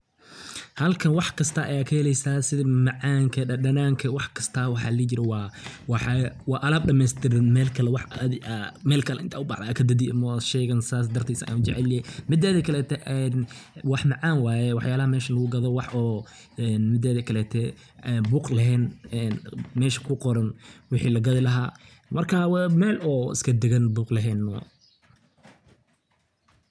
Halkan wax kasta aya kaheleysa sidi macmacaanka dadanaanka waxkasta waxaa ladihi jire waa alaab dhameystiran wax mel kale adi inta ubaxda kadadeyi maaho shaygan sas darteed ayan u jecelyahy mideda kaleto een wax macaan waaye waxyalaha mesha lagugado mideda kalete buuq laheen mesha ku qoran waxi lagadi laha marka waa mel oo iska dagan buuq laheen